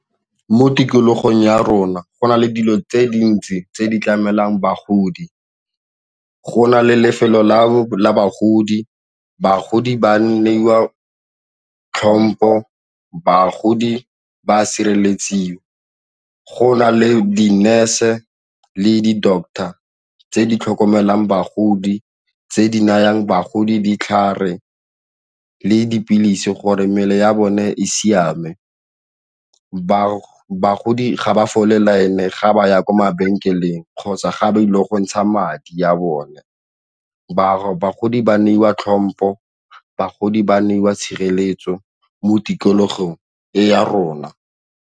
Mo tikologong ya rona go na le dilo tse dintsi tse di tlamelwang bagodi, go na le lefelo la bagodi, bagodi ba neiwa tlhompho, bagodi ba sireletsiwa go na le di-nurse le di-doctor tse di tlhokomelang bagodi tse di nayang bagodi ditlhare le dipilisi gore mmele ya bone e siame. Bagodi ga ba fole line ga ba ya kwa mabenkeleng kgotsa ga ba ile go ntsha madi ya bone, bagodi ba neiwa tlhompho, bagodi ba neiwa tshireletso mo tikologong e ya rona.